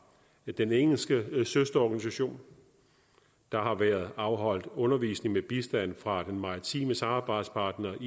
den engelske søsterorganisation der har været afholdt undervisning med bistand fra den maritime samarbejdspartner